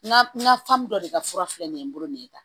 N ka n ka dɔ de ka fura filɛ nin ye n bolo nin ye tan